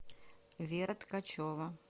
вера ткачева